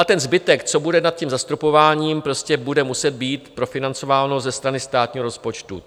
A ten zbytek, co bude nad tím zastropováním, prostě bude muset být profinancováno ze strany státního rozpočtu.